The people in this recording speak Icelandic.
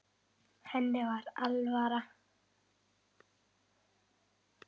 Henni var alvara.